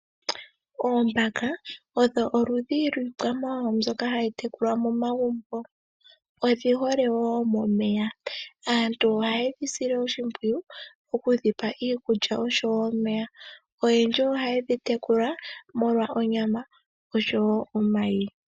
Oombaka odho oludhi lwiikwamawawa mbyoka hayi tekulwa momagumbo. Odhihole wo momeya. Aantu oha yedhi sile oshimpwiyu, okudhipa iikulya osho wo omeya. Oyendji oha yedhi tekula molwa onyama osho wo omayi.